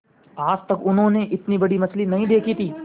आज तक उन्होंने इतनी बड़ी मछली नहीं देखी थी